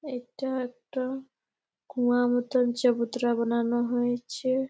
এটা একটা কুয়া মতন চাবুত্রা বানানো হয়েছে --